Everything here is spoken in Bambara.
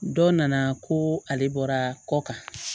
Dɔ nana ko ale bɔra kɔ kan